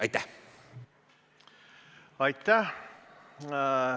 Aitäh!